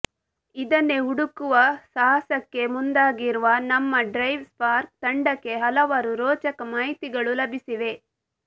ಇದನ್ನೇ ಹುಡುಕುವ ಸಾಹಸಕ್ಕೆ ಮುಂದಾಗಿರುವ ನಮ್ಮ ಡ್ರೈವ್ ಸ್ಪಾರ್ಕ್ ತಂಡಕ್ಕೆ ಹಲವಾರು ರೋಚಕ ಮಾಹಿತಿಗಳು ಲಭಿಸಿವೆ